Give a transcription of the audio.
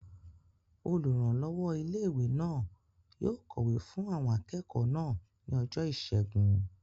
Olùrànlọ́wọ́ ilé-ìwé náà yóò kọ̀wé fún àwọn akẹ́kọ̀ọ́ náà ní ọjọ́ ìṣẹ́gun